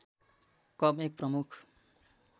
कम एक प्रमुख